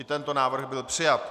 I tento návrh byl přijat.